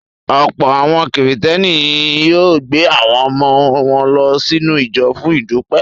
Ọ̀pọ̀ àwọn Kìrìtẹ́ẹ́nì ni yóò gbé àwọn ọmọ wọn lọ sínú ìjọ fún ìdúpẹ́.